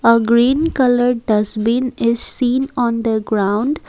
Uh green colour dustbin is seen on the ground.